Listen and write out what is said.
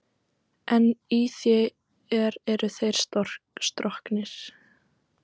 En í þér eru þeir stroknir.